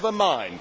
But never mind.